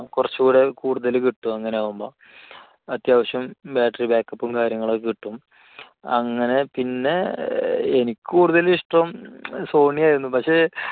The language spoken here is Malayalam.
കുറച്ചുകൂടെ കൂടുതൽ കിട്ടും അങ്ങനെ ആകുമ്പോൾ. അത്യാവശ്യം battery back up ഉം കാര്യങ്ങളും ഒക്കെ കിട്ടും. അങ്ങനെ പിന്നെ എനിക്ക് കൂടുതൽ ഇഷ്ടം sony ആയിരുന്നു പക്ഷേ